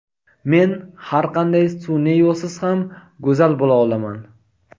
Men har qanday sun’iy yo‘lsiz ham go‘zal bo‘la olaman.